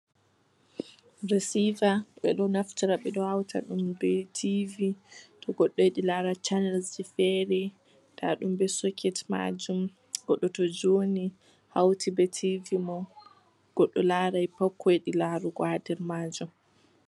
Resiva, ɓe ɗo naftira, ɓe ɗo hauta ɗum be TV, to goɗɗo yiɗi lara chanels ji fere. Nda ɗum be soket maajum. Goɗɗo to joini, hauti be TV mum, goɗɗo larai pat ko yiɗi larugo ha der maajum.